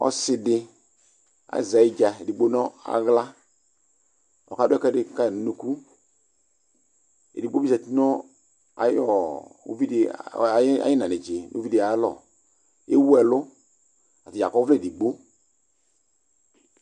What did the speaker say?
ɔse di aze ayidza edigbo no ala ko ɔka do ɛkoɛdi kayi no unuku edigbo bi zati no ayi uvidi ayalɔ ewu ɛlo ko atadza akɔ ɔvlɛ edigbo